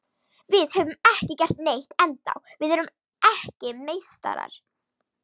Við höfum ekki gert neitt ennþá, við erum ekki meistarar.